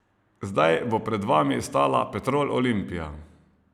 Zdaj bo pred vami stala Petrol Olimpija.